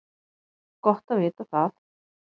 Gott að vita það